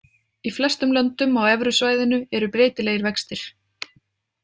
Í flestum löndum á evrusvæðinu eru breytilegir vextir.